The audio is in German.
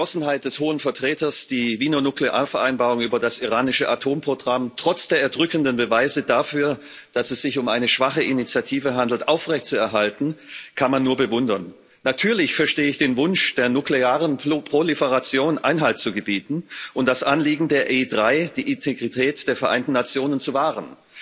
Die Entschlossenheit des Hohen Vertreters, die Wiener Nuklearvereinbarung über das iranische Atomprogramm trotz der erdrückenden Beweise dafür, dass es sich um eine schwache Initiative handelt, aufrechtzuerhalten, kann man nur bewundern. Natürlich verstehe ich den Wunsch, der nuklearen Proliferation Einhalt zu gebieten, und das Anliegen der E3, die Integrität der Vereinten Nationen zu wahren.